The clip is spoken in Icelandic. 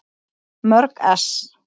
Mörg ess.